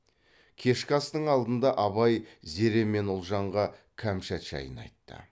кешкі астың алдында абай зере мен ұлжанға кәмшат жайын айтты